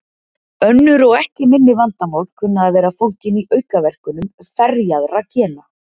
Önnur og ekki minni vandamál kunna að vera fólgin í aukaverkunum ferjaðra gena.